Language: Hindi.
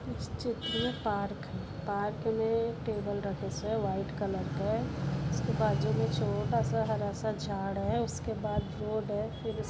इस चित्र मे पार्क है पार्क मे टेबल रखे से व्हाइट कलर के इसके बाजू मे छोटोसा हरासा झाड है उसके बाद बोर्ड है फिर--